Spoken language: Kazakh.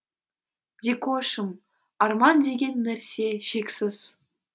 дикошым арман деген нәрсе шексіз